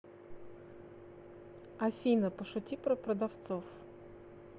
афина пошути про продавцов